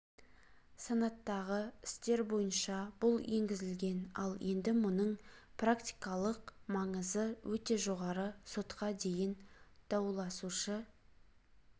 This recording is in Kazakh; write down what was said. санаттағы істер бойынша бұл енгізілген ал енді мұның практикалық маңызы өте жоғары сотқа дейін дауласушы